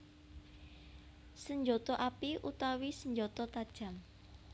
Senjata api utawi senjata tajam